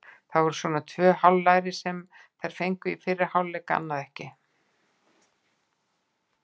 Það voru svona tvö hálffæri sem þær fengu í fyrri hálfleik, annað ekki.